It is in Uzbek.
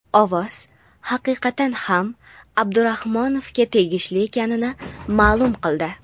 ovoz haqiqatan ham Abdurahmonovga tegishli ekanini ma’lum qildi.